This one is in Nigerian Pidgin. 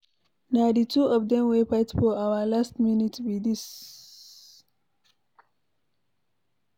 Na the two of them wey fight for our last minute be dis